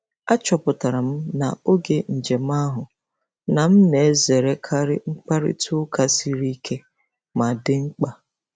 Achọpụtara m n'oge njem ahụ na m na-ezerekarị mkparịta ụka siri ike ma dị mkpa.